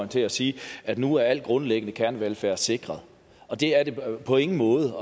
til at sige at nu er al grundlæggende kernevelfærd sikret og det er den på ingen måde